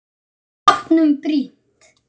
Bátnum brýnt.